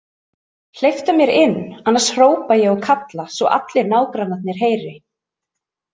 Hleyptu mér inn annars hrópa ég og kalla svo allir nágrannarnir heyri!